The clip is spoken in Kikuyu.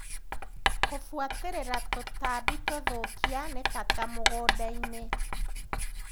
Kũbuatĩrĩra tũtambi tũthũkia nĩ bata mũgundainĩ.